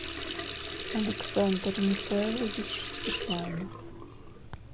александр михайлович степанов